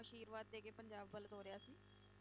ਆਸ਼ਿਰਵਾਦ ਦੇ ਕੇ ਪੰਜਾਬ ਵੱਲ ਤੋਰਿਆ ਸੀ,